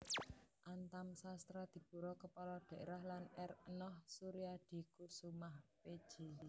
Antam Sastradipura Kepala Daerah lan R Enoh Soeriadikoesoemah Pj